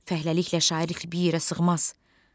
Fəhləliklə şairlik bir yerə sığmaz.